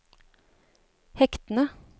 hektene